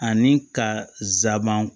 Ani ka zaaban